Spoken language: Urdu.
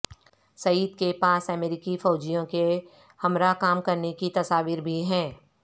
سید کے پاس امریکی فوجیوں کے ہمراہ کام کرنے کی تصاویر بھی ہیں